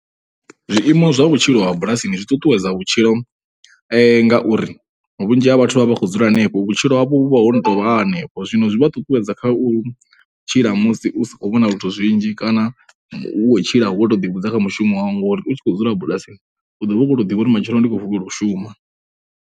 Zwiimo zwa vhutshilo ha bulasini zwi ṱuṱuwedza vhutshilo ngauri vhunzhi ha vhathu vha vha vha khou dzula hanefho. Vhutshilo havho vhu vha ho no tou vha ha henefho, zwino zwi vha ṱuṱuwedza kha u tshila musi u si khou vhona zwithu zwinzhi kana u khou tshila wo tou ḓivhudza kha mushumo wau ngauri u tshi khou dzula bulasini u vha khou tou zwi ḓivha uri matshelo ndi khou vutshela u shuma.